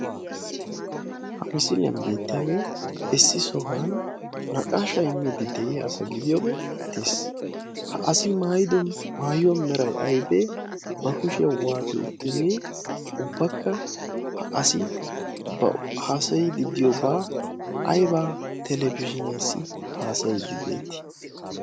ha misiiliyan beettiyaagee essi sohuwan naqaasha immeidi de'iya asa gidiyoogee beettees ha asi maayido maayuwaa merai aibee ba kushiyau waate uttidee ubbakka ha asi b haasayiiddi diyoobaa aiba telefishiiniyaasi haasayiiddi beetti?